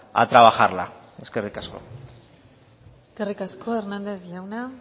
a trabajarla eskerrik asko eskerrik asko hernández jauna